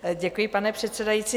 Děkuji, pane předsedající.